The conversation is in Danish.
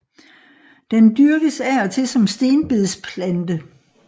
Den dyrkes af og til som stenbedsplante